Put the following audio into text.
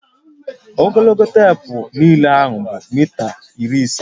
Ogologo teepu nlele ahu bụ mita iri ise